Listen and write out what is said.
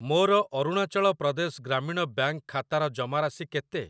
ମୋର ଅରୁଣାଚଳ ପ୍ରଦେଶ ଗ୍ରାମୀଣ ବ୍ୟାଙ୍କ୍‌ ଖାତାର ଜମାରାଶି କେତେ?